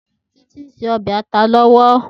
Titi n sé òbè àtá lòwò